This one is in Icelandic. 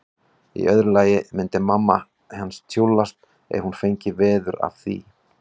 Í öðru lagi myndi mamma hans tjúllast ef hún fengi veður af því.